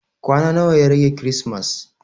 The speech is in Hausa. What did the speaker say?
Kwana nawa ya rage kirismas?